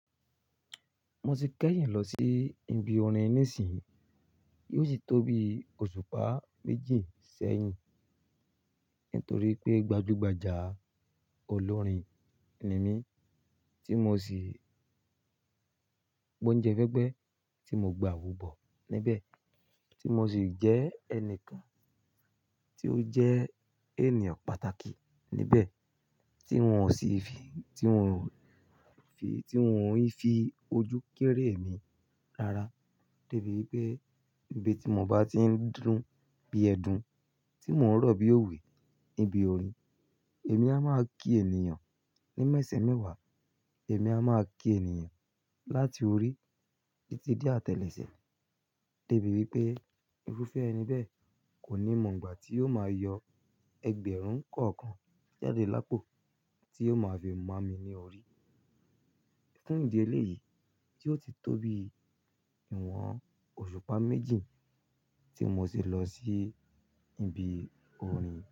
Mo ti kẹ́yìn lọ sí ibi orin nísìnyí, yóò sì tó bí òṣùpá méjì sẹ́yìn. Nítorí pé gbajúgbajà olórin ni mí tí mo sì gbọ́uńjẹ fẹ́ẹ́gbẹ́ tí mo gba àwobọ̀ níbẹ̀, tí mo sì jẹ́ ẹnìkan tí ó jẹ́ ènìyàn pàtàkì níbẹ̀, tí wọ́n sì fi, tí wọ́n fi, tí wọ́n ń fi ojú kéré mi rara. Débi wípé ibi tí mo bá ti ń dúró bí ẹdun, tí mò ń rọ̀ bí òwe níbi orin, èmi a máa kí ènìyàn ní mẹ́sẹ̀ mẹ́wàá, èmi a máa kí ènìyàn láti orí títí dé àtẹ́lẹsẹ̀. Débi wípé, irúfẹ́ ẹni bẹ́ẹ̀ kò ní mọ̀ ìgbà tí ó máa yọ ẹgbẹ̀rún kọ̀ọ̀kan jáde lápò tí ó máa fi mọ̀ mí ní orí. Nítorí ìdí eléyìí tí ó ti tó bí ìwọ̀n òṣùpá méjì tí mo sì lọ sí ibi orin.